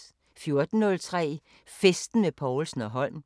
14:03: Festen med Povlsen & Holm